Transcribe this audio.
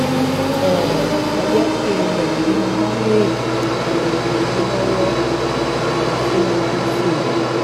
um ẹ jẹ́ kí n mọ̀ bí mo bá lè um ràn yín lọ́wọ́ um síwájú sí i